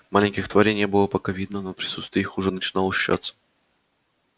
маленьких тварей не было пока видно но присутствие их уже начинало ощущаться